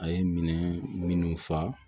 A ye minɛn minnu fa